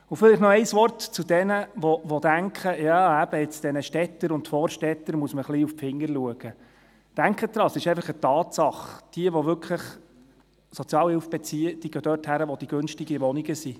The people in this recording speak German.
Vielleicht noch ein Wort zu jenen, die denken, dass man diesen Städtern und Vorstädtern auf die Finger schauen muss: Denken Sie daran, es ist eine Tatsache, dass jene, die Sozialhilfe beziehen, dorthin gehen, wo es die günstigen Wohnungen gibt.